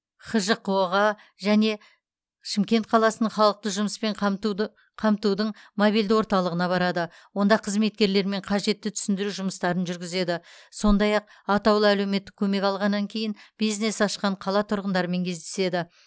хжқо ға және шымкент қаласының халықты жұмыспен қамтуды қамтудың мобильді орталығына барады онда қызметкерлермен қажетті түсіндіру жұмыстарын жүргізеді сондай ақ атаулы әлеуметтік көмек алғаннан кейін бизнес ашқан қала тұрғындарымен кездеседі